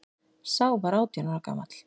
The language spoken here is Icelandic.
Sá var átján ára gamall